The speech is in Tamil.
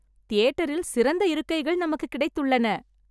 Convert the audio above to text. தியேட்டரில் சிறந்த இருக்கைகள் நமக்குக் கிடைத்துள்ளன